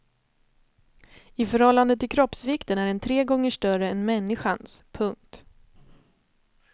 I förhållande till kroppsvikten är den tre gånger större än människans. punkt